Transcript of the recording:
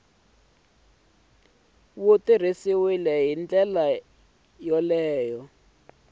wu tirhisiwile hi ndlela yo